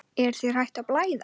Er þér hætt að blæða?